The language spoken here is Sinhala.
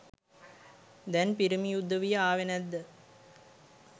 දැන් පිරිමි උදවිය ආවේ නැද්ද